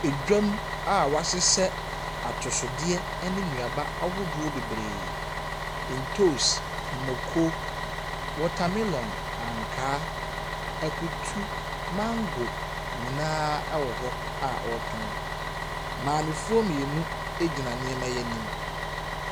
Edwam a wɔahyehyɛ atosodeɛ ne nnuaba ahodoɔ bebree. Ntoos, mako, wɔtamelɔn, ankaa, akutu, mango nyinaaa wɔ hɔ a wɔretɔn. Maamefoɔ mmienu egyina nneɛma yi anim.